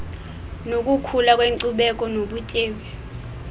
nokukhula kwenkcubeko nobutyebi